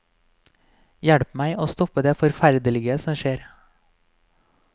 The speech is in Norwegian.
Hjelp meg å stoppe det forferderlige som skjer.